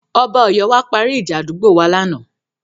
Ọba Ọ̀yọ́ bá wa parí ìjà àdúgbò wa lánàá.